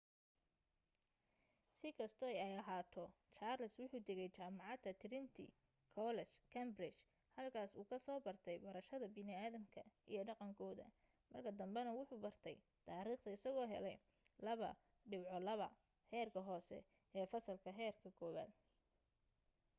si kasto ay ahaato charles wuxuu tagay jamacada trinity college cambridge halkaas uu ka soo bartay barashada bini’adamka iyo dhaqan kooda marka dambena wuxu bartay tariikhda isago heley 2:2 heerka hoose ee fasalka heerka kuwaaad